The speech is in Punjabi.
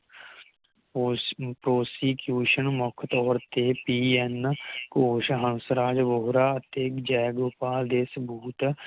ਉਸ Prostitution ਮੁਖ ਤੋਰ ਤੇ ਪੀ ਐੱਨ ਕੋਸ਼ ਹੰਸਰਾਜ ਵੋਹਰਾ ਅਤੇ ਜੇਗੋਪਾਲ ਦੇ ਸਬੂਤ